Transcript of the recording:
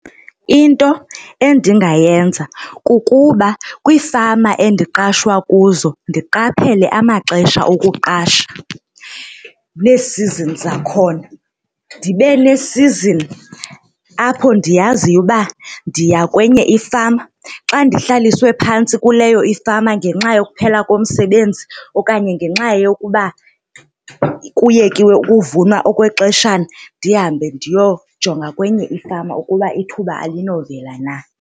Into endingayenza kukuba kwiifama endiqashwa kuzo ndiqaphele amaxesha okuqasha, nee-seasons zakhona ndibe ne-season apho ndiyaziyo uba ndiya kwenye ifama. Xa ndihlaliswe phantsi kuleyo ifama ngenxa yokuphela komsebenzi okanye ngenxa yokuba kuyekiwe ukuvunwa okwexeshana ndihambe ndiyojonga kwenye ifama ukuba ithuba alinovela na.